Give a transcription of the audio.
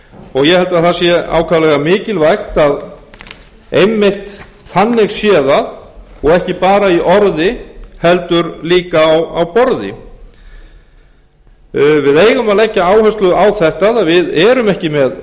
og ég held að það sé ákaflega mikilvæga að einmitt þannig sé það og ekki bara í orði heldur líka á borði við eigum að leggja áherslu á þetta að við erum ekki með